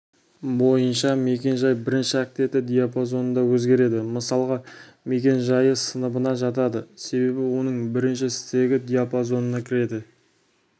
бойынша мекен-жай бірінші октеті диапазонында өзгереді мысалға мекен-жайы сыныбына жатады себебі оның бірінші стегі диапазонына кіреді